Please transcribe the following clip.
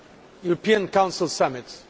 European Council summits.